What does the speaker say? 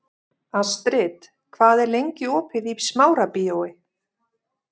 Astrid, hvað er lengi opið í Smárabíói?